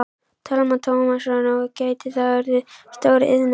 Telma Tómasson: Og gæti þetta þá orðið stór iðnaður?